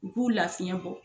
U b'u lafiɲɛ bɔ.